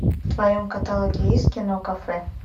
в твоем каталоге есть кино кафе